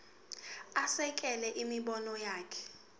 asekele imibono yakhe